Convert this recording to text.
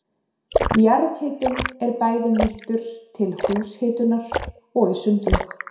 Jarðhitinn er bæði nýttur til húshitunar og í sundlaug.